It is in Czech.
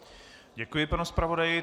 Děkuji panu zpravodaji.